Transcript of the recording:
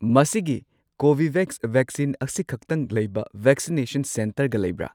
ꯃꯁꯤꯒꯤ Covovax vaccine ꯑꯁꯤꯈꯛꯇꯪ ꯂꯩꯕ ꯚꯦꯛꯁꯤꯅꯦꯁꯟ ꯁꯦꯟꯇꯔꯒ ꯂꯩꯕ꯭ꯔꯥ?